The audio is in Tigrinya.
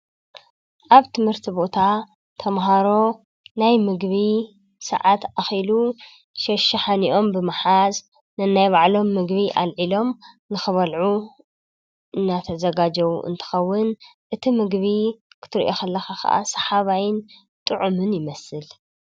ኣብ ትምህርቲ ቦታ ተምሃሮ ናይ ምግቢ ሰዓት ኣኺሉ ሸሽሓኒኦም ብምሓዝ ንናይ ባዕሎም መግቢ ኣልዒሎም ንኽበልዑ እናተዘጋጀው እንትኸውን እቲ ምግቢ ክትርኢ ከለ ከዓ ሰሓባይን ጥዑምን ይመስል።